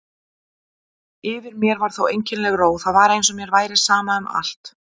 Yfir mér var einkennileg ró, það var eins og mér væri sama um allt.